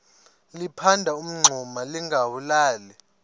liphanda umngxuma lingawulali